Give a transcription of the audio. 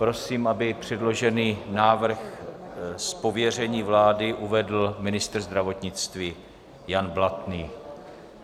Prosím, aby předložený návrh z pověření vlády uvedl ministr zdravotnictví Jan Blatný.